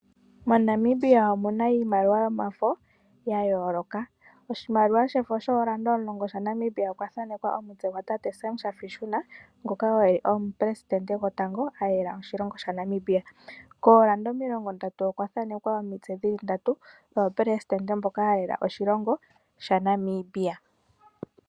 MoNamibia omuna iimaliwa yomafo ya yooloka. Oshimaliwa shoondola 19 shaNamibia okwa thanekwa omutse gwa tate Sam Shafaishuna ngoka eli oye omupresitende gotango alela Namibia. Koolanda o30 okwa thanekwa omitse dhili ndatu dhoopresitende mboka yalela oshilongo shaNamibia.